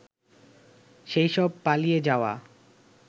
সেইসব পালিয়ে যাওয়া